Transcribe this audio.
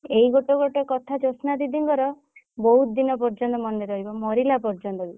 ଏଇ ଗୋଟେ ଗୋଟେ କଥା ଜୋସନା ଦିଦିଙ୍କର ବହୁତ ଦିନ ପର୍ଯ୍ୟନ୍ତ ମନେ ରହିବ ମରିଲା ପର୍ଯ୍ୟନ୍ତ ବି।